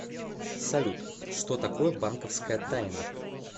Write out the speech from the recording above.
салют что такое банковская тайна